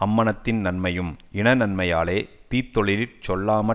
அம்மனத்தின் நன்மையும் இனநன்மையாலே தீத்தொழிலிற் செல்லாமற்